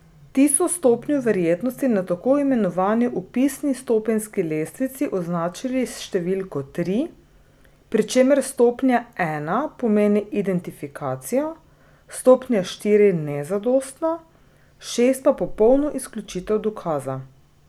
Ti so stopnjo verjetnosti na tako imenovani opisni stopenjski lestvici označili s številko tri, pri čemer stopnja ena pomeni identifikacijo, stopnja štiri nezadostno, šest pa popolno izključitev dokaza.